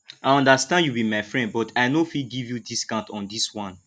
i understand you be my friend but i no fit give you discount on this one